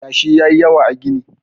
yashi ya yi yawa a gini?